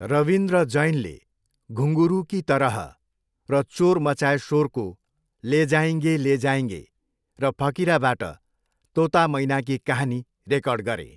रविन्द्र जैनले 'घुंगरु की तरह' र चोर मचाए शोरको 'ले जाएगें ले जाएगें ' र फकिराबाट 'तोता मैना की कहानी' रेकर्ड गरे।